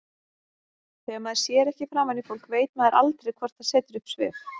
Þegar maður sér ekki framan í fólk veit maður aldrei hvort það setur upp svip.